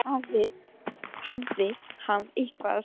En loksins hafði hann eitthvað að segja.